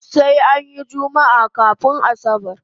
Sai anyi jummaa kafun asabar